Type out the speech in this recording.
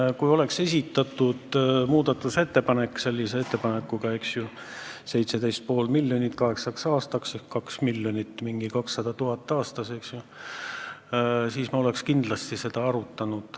Teate, kui oleks esitatud selline muudatusettepanek, st 17,5 miljonit kaheksaks aastaks ehk 2 miljonit aastas, siis me oleks seda kindlasti arutanud.